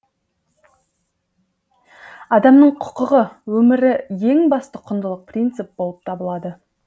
адамның құқығы өмірі ең басты құндылық принцип болып табылады